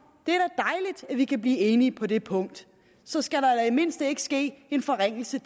det vi kan blive enige på det punkt så skal der i mindste ikke ske en forringelse